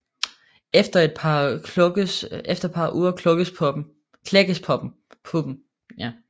Efter et par uger klækkes puppen